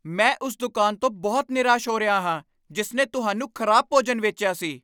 ਮੈਂ ਉਸ ਦੁਕਾਨ ਤੋਂ ਬਹੁਤ ਨਿਰਾਸ਼ ਹੋ ਰਿਹਾ ਹਾਂ ਜਿਸ ਨੇ ਤੁਹਾਨੂੰ ਖ਼ਰਾਬ ਭੋਜਨ ਵੇਚਿਆ ਸੀ।